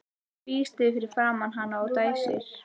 Tvístígur fyrir framan hana og dæsir.